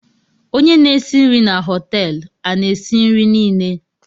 Onye n'esi nrii na hotéélu a na esi nri Nile?